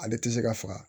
Ale tɛ se ka faga